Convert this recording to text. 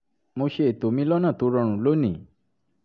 mo ṣe ètò mi lọ́nà tó rọrùn lónìí